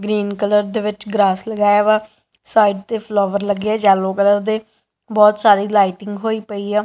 Green colour ਦੇ ਵਿੱਚ grass ਲਗਾਇਆ ਵਾ ਸਾਈਡ ਤੇ ਫਲੋਵਰ ਲੱਗਿਆ ਯੈਲੋ ਕਲਰ ਦੇ ਬਹੁਤ ਸਾਰੀ ਲਾਈਟਿੰਗ ਹੋਈ ਪਈ ਆ।